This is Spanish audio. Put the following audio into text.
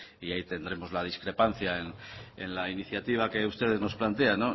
y ahí tendremos la discrepancia en la iniciativa que ustedes nos plantean